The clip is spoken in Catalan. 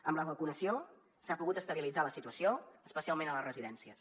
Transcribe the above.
amb la vacunació s’ha pogut estabilitzar la situació especialment a les residències